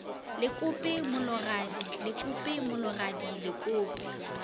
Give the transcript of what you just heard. lekope mologadi lekope mologadi lekope